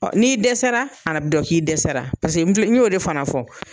O n'i dɛsɛra a yɛrɛ bi dɔn k'i dɛsɛra paseke n filɛ n y'o de fana fɔ.